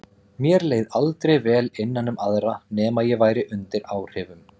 Mér leið aldrei vel innan um aðra nema ég væri undir áhrifum.